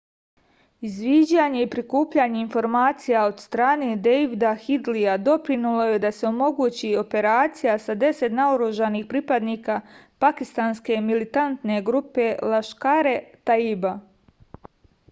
izviđanje i prikupljanje informacija od strane dejvida hidlija doprinelo je da se omogući operacija sa 10 naoružanih pripadnika pakistanske militantne grupe laškar-e-taiba